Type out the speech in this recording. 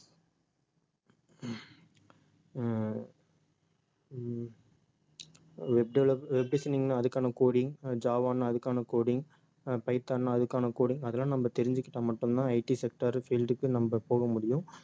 அஹ் um web develop~ web designing ன்னா அதுக்கான coding uh Java அதுக்கான coding ஆஹ் பைத்தான்னா அதுக்கான coding அதெல்லாம் நம்ம தெரிஞ்சுக்கிட்டா மட்டும்தான் IT sector field க்கு நம்ம போக முடியும்